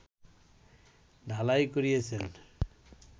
ঢালাই করিয়াছেন